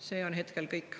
See on hetkel kõik.